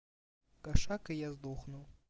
кошак и я сдохну